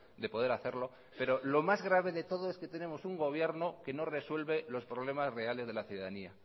de poder hacerlo pero lo más grave de todo es que tenemos un gobierno que no resuelve los problemas reales de la ciudadanía